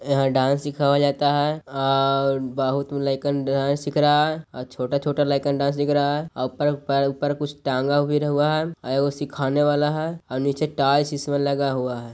यहां डांस सिखावा जाता है आ बहुत लाइकन डांस सिख रहा है आ छोटा छोटा लाइकन डास दिख रहा है। आ परप-पर-ऊपर कुछ टांगा भी रहुआ है आ ओ सीखने वाला है ओर नीचे टाइल्स इसमें लगा हुआ है।